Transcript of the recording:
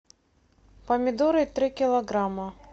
помидоры три килограмма